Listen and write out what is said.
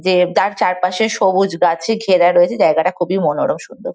যে যার চারপাশে সবুজ গাছে ঘেরা রয়েছে। জায়গাটা খুবই মনোরম সুন্দর।